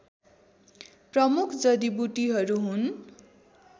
प्रमुख जडिबुटीहरू हुन्